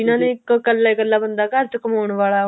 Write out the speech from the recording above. ਜਿਹਨਾ ਨੇ ਇੱਕ ਕੱਲਾ ਹੀ ਕੱਲਾ ਬੰਦਾ ਘਰ ਚ ਕਮਾਉਣ ਵਾਲਾ